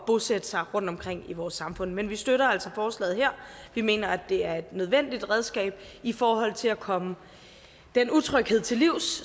bosætte sig rundtomkring i vores samfund men vi støtter altså forslaget her vi mener at det er et nødvendigt redskab i forhold til at komme den utryghed til livs